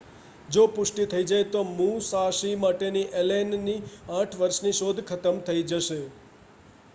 જો પુષ્ટિ થઈ જાય તો મુસાશી માટેની એલેનની 8 વર્ષની શોધ ખતમ થઈ જશે